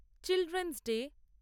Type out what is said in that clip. children's day